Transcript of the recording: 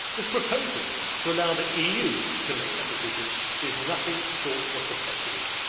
This proposal to allow the EU to make that decision is nothing short of protectionism.